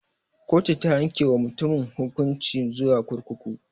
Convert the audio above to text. Kotu ta yanke wa mutumin hukunci zuwa kurkuku.